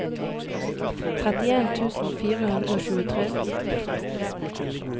trettien tusen fire hundre og tjuetre